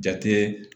Jate